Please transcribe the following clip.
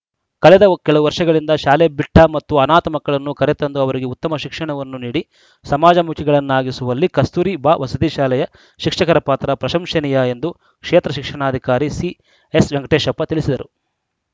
ಕಳೆದ ಕೆಲವು ವರ್ಷಗಳಿಂದ ಶಾಲೆಬಿಟ್ಟಮತ್ತು ಅನಾಥ ಮಕ್ಕಳನ್ನು ಕರೆತಂದು ಅವರಿಗೆ ಉತ್ತಮ ಶಿಕ್ಷಣವನ್ನು ನೀಡಿ ಸಮಾಜಮುಖಿಗಳನ್ನಾಗಿಸುವಲ್ಲಿ ಕಸ್ತೂರಿ ಬಾ ವಸತಿ ಶಾಲೆಯ ಶಿಕ್ಷಕರ ಪಾತ್ರ ಪ್ರಶಂಸನೀಯ ಎಂದು ಕ್ಷೇತ್ರ ಶಿಕ್ಷಣಾಧಿಕಾರಿ ಸಿಎಸ್‌ವೆಂಕಟೇಶಪ್ಪ ತಿಳಿಸಿದರು